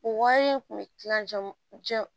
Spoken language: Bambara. O wari in kun bɛ kila